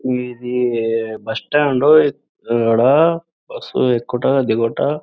ఇది bus stand ఇక్కడ బస్సులు ఎక్కుట దిగుట.